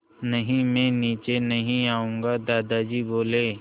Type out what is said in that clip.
नहीं मैं नीचे नहीं आऊँगा दादाजी बोले